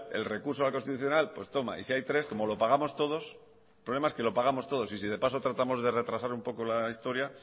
el recurso al constitucional pues toma y si hay tres como lo pagamos todos el problema es que lo pagamos todos y si de paso tratamos de retrasar un poco la historia